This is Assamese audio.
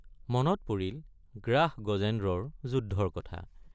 মনত পৰিল গ্ৰাস গজেন্দ্ৰৰ যুদ্ধৰ কথা!